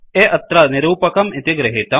A अत्र निरूपकम् इति गृहीतम्